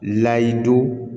Lahadu